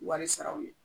Wari saraw ye